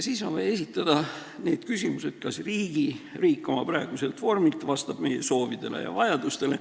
Siis on vaja esitada küsimus, kas riik oma praeguselt vormilt vastab meie soovidele ja vajadustele.